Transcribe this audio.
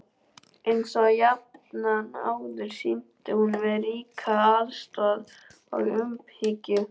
Einsog jafnan áður sýndi hún mér ríka ástúð og umhyggju.